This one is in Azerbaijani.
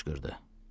Kişi qışqırdı.